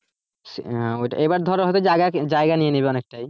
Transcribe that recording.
হ্যাঁ ওইটাই ধর এইবার যাই~জায়গা নিয়ে নেবে অনেকটাই।